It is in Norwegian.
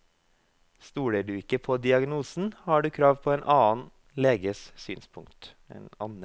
Stoler du ikke på diagnosen, har du krav på en annen leges synspunkt.